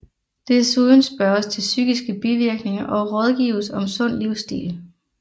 Desuden spørges til psykiske bivirkninger og rådgives om sund livsstil